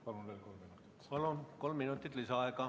Palun veel kolm minutit!